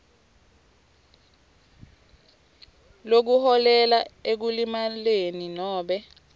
lokuholela ekulimaleni nobe